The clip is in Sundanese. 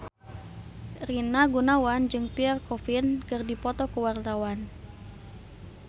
Rina Gunawan jeung Pierre Coffin keur dipoto ku wartawan